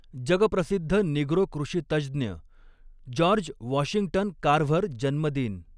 जगप्रसिध्द Negro कृषितज्ज्ञ George Washington Carver जन्मदिन.